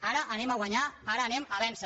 ara anem a guanyar ara anem a vèncer